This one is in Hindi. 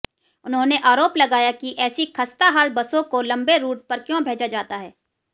उन्होंने आरोप लगाया कि ऐसी खस्ताहाल बसों को लंबे रूट पर क्यों भेजा जाता है